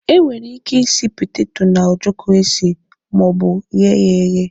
E nwere ike isi petato na ojoko esi maọbu ghee ya eghe.